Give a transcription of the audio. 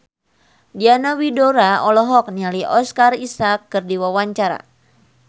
Diana Widoera olohok ningali Oscar Isaac keur diwawancara